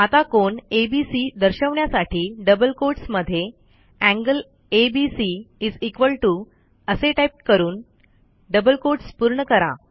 आता कोन ABCदर्शवण्यासाठी डबल कोट्स मध्ये एंगल एबीसी असे टाईप करून डबल quotesपूर्ण करा